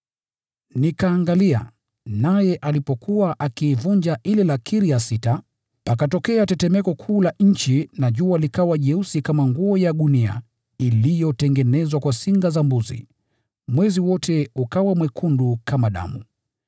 Nikatazama akiivunja ile lakiri ya sita. Pakatokea tetemeko kuu la nchi, na jua likawa jeusi kama nguo ya gunia iliyotengenezwa kwa singa za mbuzi, na mwezi wote ukawa mwekundu kama damu.